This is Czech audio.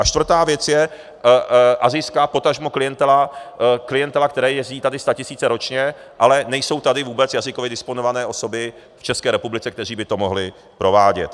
A čtvrtá věc je asijská potažmo klientela, které jezdí tady statisíce ročně, ale nejsou tady vůbec jazykově disponované osoby v České republice, které by to mohli provádět.